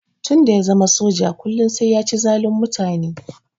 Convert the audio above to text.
Tun da ya zama soja kullum sai ya ci zalun mutane.